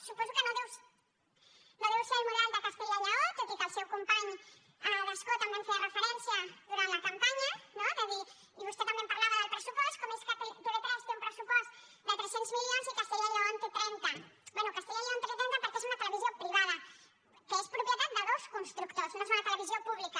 suposo que no deu ser el model de castella i lleó tot i que el seu company d’escó també hi feia referència durant la campanya no de dir i vostè també en parlava del pressupost com és que tv3 té un pressupost de tres cents milions i castella i lleó en té trenta bé castella i lleó en té trenta perquè és una televisió privada que és propietat de dos constructors no és una televisió pública